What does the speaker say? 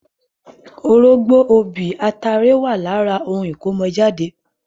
Orógbó, obì, atare wà lára ohun ìkọ́mọ jáde.